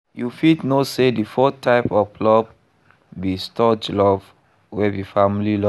You fit know say di fourth type of love be storge love wey be family love.